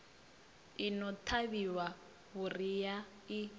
i no ṱavhiwa vhuriha i